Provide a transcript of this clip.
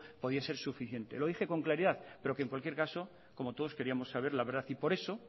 podía ser suficiente lo dije con claridad pero que en cualquier caso como todos queríamos saber la verdad y por eso